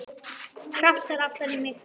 Krafsar aftan í mig.